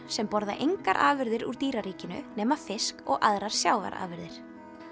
sem borða engar afurðir úr dýraríkinu nema fisk og aðrar sjávarafurðir